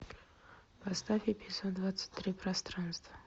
поставь эпизод двадцать три пространство